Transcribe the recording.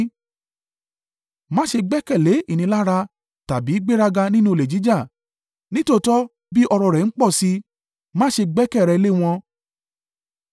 Má ṣe gbẹ́kẹ̀lé ìnilára, tàbí gbéraga nínú olè jíjà, nítòótọ́ bí ọrọ̀ rẹ̀ ń pọ̀ sí i, má ṣe gbẹ́kẹ̀ rẹ lé wọn.